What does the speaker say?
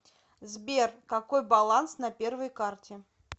сбер какой баланс на первой карте